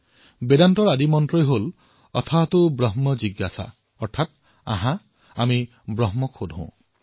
বেদান্তৰ প্ৰথম মন্ত্ৰ হল অথতো ব্ৰহ্ম জিজ্ঞাসা অৰ্থাৎ আহক আমি ব্ৰহ্মৰ জিজ্ঞাসা কৰো